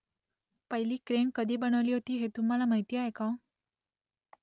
पहिली क्रेन कधी बनवली गेली होती ते तुम्हाला माहीत आहे का ?